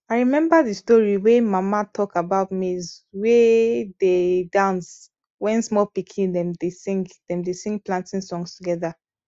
i remember the story wey mama tlak about maize wey dey dance wen small pikin dem dey sing dem dey sing planting songs together